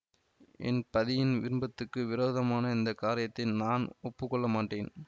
என் பதியின் விருப்பத்துக்கு விரோதமான இந்த காரியத்தை நான் ஒப்பு கொள்ள மாட்டேன்